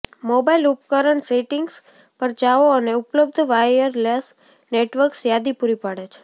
mobile ઉપકરણ settings પર જાઓ અને ઉપલબ્ધ વાયરલેસ નેટવર્ક્સ યાદી પૂરી પાડે છે